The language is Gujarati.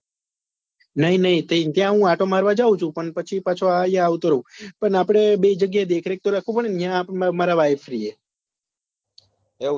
નહિ નહિ ત્યાં હું આંટો મારવા જઉં ચુ પણ પછી પાછો આવતો રહું પણ આપડે બે જગ્યા એ દેખરેખ તો રાખવું પડે ને ત્યાં મારા wife રે